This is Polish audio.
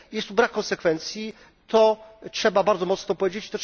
Jest to brak konsekwencji, co trzeba bardzo mocno powiedzieć.